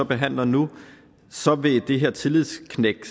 behandler nu så vil det her tillidsknæk